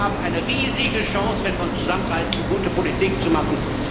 Wir haben eine riesige Chance, wenn wir uns zusammenreißen, gute Politik zu machen.